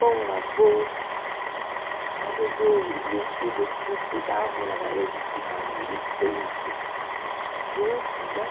bom avô, ajudou, meus filhos precisavam, era ele que estava ali sempre, junto, né?